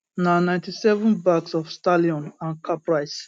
na 97 bags of stallion and caprice